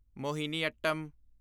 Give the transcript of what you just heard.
Mohiniyattam